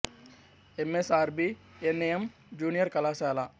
ఎం S R B N M junior కళాశాల